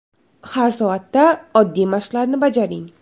Har soatda oddiy mashqlarni bajaring.